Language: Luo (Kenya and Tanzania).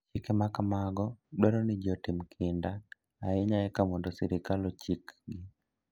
Chike ma kamago dwaro ni ji otim kinda ahinya eka mondo sirkal ochikgi.